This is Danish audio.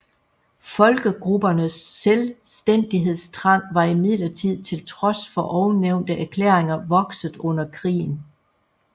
Folkegruppernes selvstændighedstrang var imidlertid til trods for ovennævnte erklæringer vokset under krigen